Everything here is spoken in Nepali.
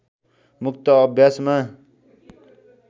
मुक्त अभ्यासमा